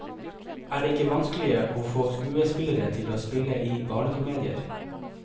Er det ikke vanskelig å få skuespillere til å spille i barnekomedier?